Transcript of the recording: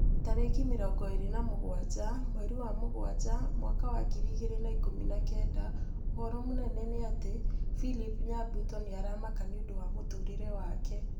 Tarĩki mĩrongo ĩrĩ na mũgwanja mweri wa mũgwanja mwaka wa ngiri igĩrĩ na ikũmi na kenda ũhoro mũnene nĩ ati philip nyabuto nĩ aramaka nĩũndũ wa mũtũrĩre wake